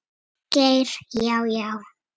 Geir Já, já.